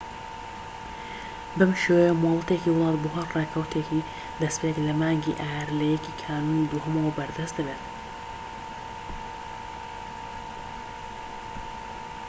بەم شێوەیە مۆڵەتێکی وڵات بۆ هەر ڕێکەوتێکی دەستپێك لە مانگی ئایار لە 1ی کانونی دووەمەوە بەردەست دەبێت